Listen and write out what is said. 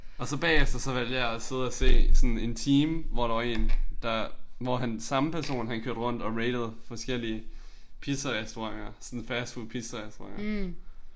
Og så bagefter så valgte jeg at sidde og se sådan en time hvor der var én der hvor han samme person han kørte rundt og ratede forskellige pizzarestauranter sådan fastfood pizzarestauranter